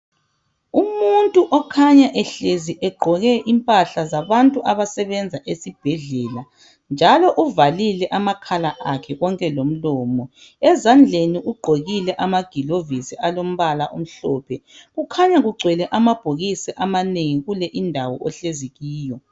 Umuntu okhanya ehlezi egqoke impahla zabantu abasebenza esibhedlela njalo uvalile amakhala akhe konke lomlomo. Ezandleni ugqokile amagilovisi alombala omhlophe. Kukhanya kugcwele amabhokisi amanengi kule indawo ohlezi kiyo.